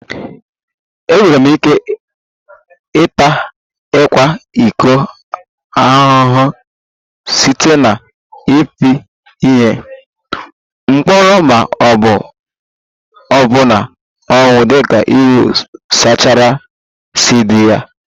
Enwere ike ịta ịkwa iko ahụhụ site na ịpị ihe, mkpọrọ ma ọ bụ ọbụna ọnwụ dịka iwu sharia si dị